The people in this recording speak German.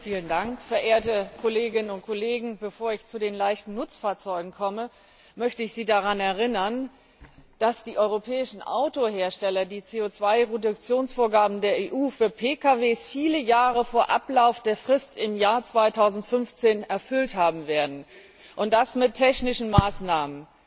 Herr Präsident, verehrte Kolleginnen und Kollegen! Bevor ich zu den leichten Nutzfahrzeugen komme, möchte ich Sie daran erinnern, dass die europäischen Autohersteller die CO Produktionsvorgaben der EU für Pkw viele Jahre vor Ablauf der Frist im Jahr 2015 erfüllt haben werden, und das mit technischen Maßnahmen.